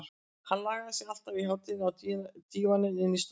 Hann lagði sig alltaf í hádeginu á dívaninn inni í stofu.